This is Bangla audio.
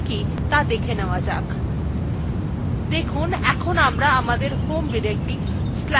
দেখুন এখন আমরা আমাদের home directory/home/gnuhataত়ে ফিরে এসেছি